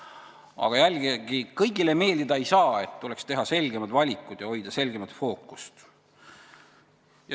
Aga jällegi, kõigile meeldida ei saa, tuleks teha selgemad valikud ja hoida selgemat fookust.